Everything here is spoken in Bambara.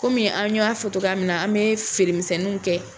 an y'a fɔ cogoya min na ,an bɛ feere misɛnninw kɛ .